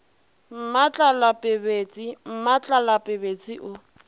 mmatlala pebetse mmatlala pebetse o